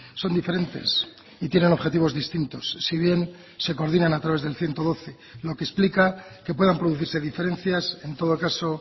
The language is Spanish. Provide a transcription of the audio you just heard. son diferentes y tienen objetivos distintos si bien se coordinan a través del ciento doce lo que explica que puedan producirse diferencias en todo caso